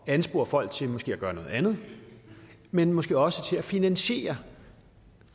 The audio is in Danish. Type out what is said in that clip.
anspore folk til måske at gøre noget andet men måske også til at finansiere